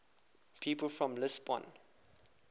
people from lisbon